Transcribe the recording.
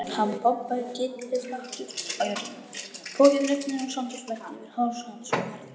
Hann pompaði kylliflatur á jörðina, pokinn rifnaði og sandur flæddi yfir háls hans og herðar.